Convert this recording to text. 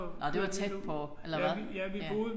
Nåh det var tæt på. Eller hvad? Ja